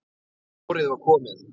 Vorið var komið.